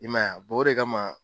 I ma ye wa ? o de kama